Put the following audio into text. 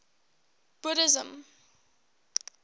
buddhism